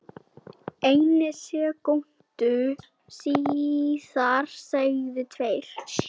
einni sekúndu síðar segðu tveir